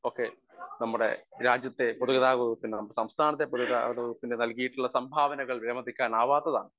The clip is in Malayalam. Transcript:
സ്പീക്കർ 1 ഒക്കെ നമ്മുടെ രാജ്യത്തെ പൊതു ഗതാഗത വകുപ്പിന് സംസ്ഥാനത്തെ പൊതു ഗതാഗത വകുപ്പിന് നൽകിയിട്ടുള്ള സംഭാവനകൾ വിലമതിക്കാനാവാത്തതാണ്.